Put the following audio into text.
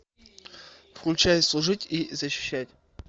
включай служить и защищать